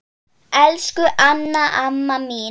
Elsku Anna amma mín.